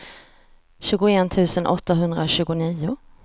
tjugoett tusen åttahundratjugonio